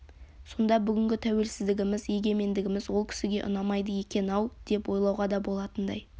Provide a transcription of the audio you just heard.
сонда бүгінгі тәуелсіздігіміз егемендігіміз ол кісіге ұнамайды екен-ау деп ойлауға да болатындай